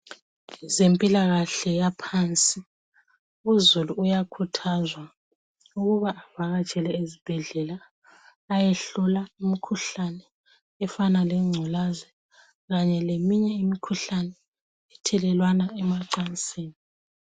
Abezempilakahle yaphansi uzulu uyakhuthazwa ukuba avakatshele ezibhedlela ayehlola umkhuhlane efana lengculaza kanye leminye imikhuhlane ithelelwana emacansini.